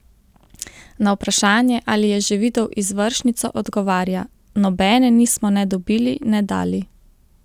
Na vprašanje, ali je že videl izvršnico, odgovarja: "Nobene nismo ne dobili ne dali.